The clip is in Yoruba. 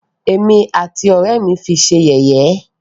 Ẹ̀mí àti àwọn ọ̀rẹ́ ẹ́ mí fi ṣé yẹ̀yẹ́.